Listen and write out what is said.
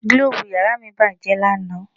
Gílóòbù yàrá mi bàjẹ́ lánà